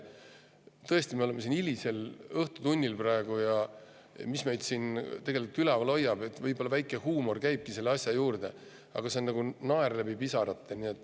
Tõesti, me oleme siin praegu hilisel õhtutunnil ja see, mis meid tegelikult üleval hoiab, on võib-olla väike huumor, see käibki asja juurde, aga see on nagu naer läbi pisarate.